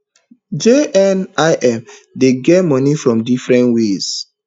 JNIM dey get money from different ways